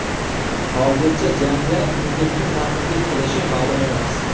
Hozircha jangda unga kim raqiblik qilishi ma’lum emas.